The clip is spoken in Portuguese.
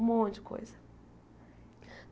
Um monte de coisa.